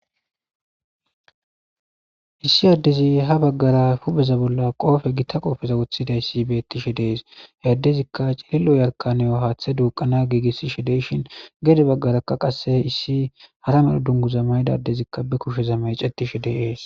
Issi addezi ha baggara pupeza bolla qoofe gitta qoofeza wothida issi bettishe dees he addezikka cililo yarkaniyo haaththe duuqana giigissi she deyshin gede baggarakka qasse issi hara me dunguza maydadezikka be kusheza may cetishe deees.